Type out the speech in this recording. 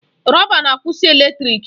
Rọba na-akwụsị eletrịk.